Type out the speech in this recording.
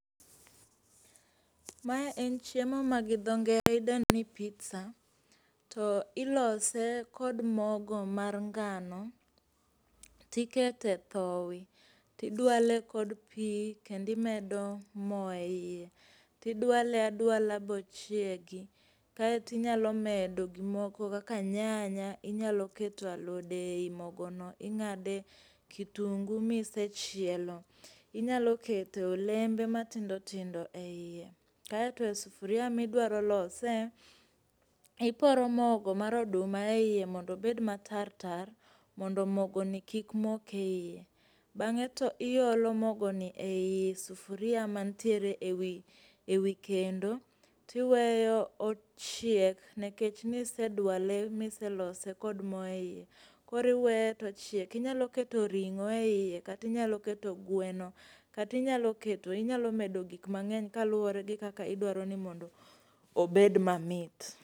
Mae en chiemo ma gi dho ngere idendo ni pizza to ilose kod mogo mar ngano to ikete thowi to idwale kod pi kendo imedo mo eiye. Toidwale adwala bochiegi kae to inyalo medo gik moko kaka nyanya, inyalo keto alode ei mogono ing'ade kitungu a isechielo. Inyalo keto olembe matindo tindo eiye. Kaeto sufuria ma idwaro lose iporo mogo mar oduma eiye mondo obed matar tar mondo mogoni kik mok eiye. Bang'e to iolo mogoni ei sufuria man tiee ewi kendo to iweyo ochieg nikech niseduale miselose kod mo eiye koro iweye to ochiek. Inyalo keto ring'o eiye, kata inyalo keto gweno kata inyalo keto inyalo medo gik mang'eny kauwore gi kaka idwaro ni mondo obed mamit.